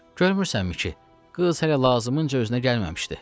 Görmürsənmi ki, qız hələ lazımınca özünə gəlməmişdi?